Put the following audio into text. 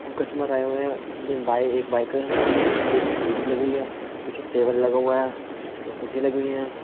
को कस्टमर आए हुए हैं उनमें बाय एक बाइक है उसकी एक स्कूटरी लगी हुई है पीछे टेबल लगा हुआ है तो कुर्सी लगी हुई है।